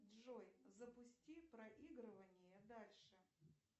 джой запусти проигрывание дальше